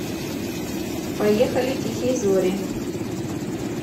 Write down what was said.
поехали тихие зори